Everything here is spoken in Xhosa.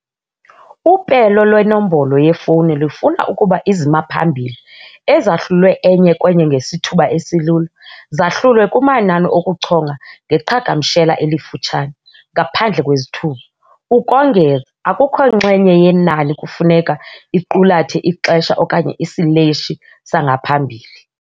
Upelo lwenombolo yefowuni lufuna ukuba izimaphambili - ezahlulwe enye kwenye ngesithuba esilula - zahlulwe kumanani okuchonga ngeqhagamshela elifutshane, ngaphandle kwezithuba, ukongeza, akukho nxenye yenani kufuneka iqulathe ixesha okanye isileshi sangaphambili.